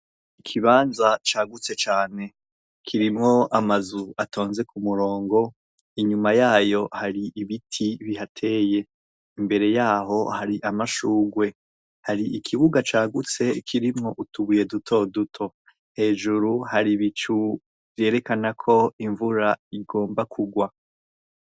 Ikibanza cagutse cane. Kirimwo amazu atonze ku murongo, inyuma yayo hari ibiti bihateye. Imbere yaho hari amashurwe. Hari ikibuga cagutse kirimwo utubuye dutoduto. Hejuru hari ibicu vyerekana ko imvura igomba kugwa.